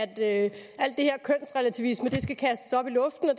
at alt det her kønsrelativisme skal kastes op i luften og